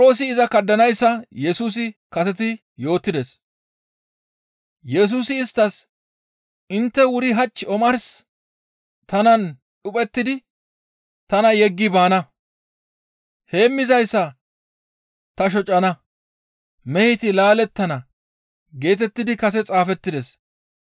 Yesusi isttas, «Intte wuri hach omarsi tanan dhuphettidi tana yeggi baana; ‹Heemmizayssa ta shocana; meheti laalettana› geetettidi kase xaafettides.